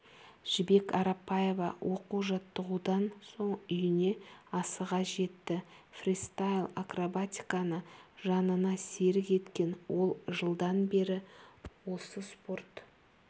жібек арапбаева оқу-жаттығудан соң үйіне асыға жетті фристайл-акробатиканы жанына серік еткен ол жылдан бері осы спорт